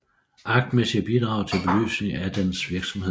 Aktmæssige bidrag til belysning af dens virksomhed